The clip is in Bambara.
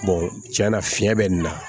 tiɲɛ na fiɲɛ bɛ nin na